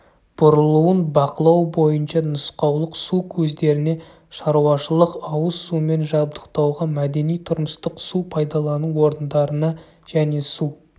бұрылуын бақылау бойынша нұсқаулық су көздеріне шаруашылық-ауыз сумен жабдықтауға мәдени-тұрмыстық су пайдалану орындарына және су